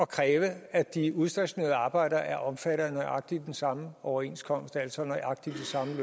kræve at de udstationerede arbejdere er omfattet af nøjagtig den samme overenskomst altså nøjagtig